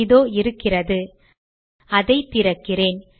இதோ இருக்கிறது அதை திறக்கிறேன்